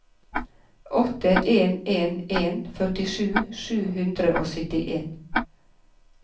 åtte en en en førtisju sju hundre og syttien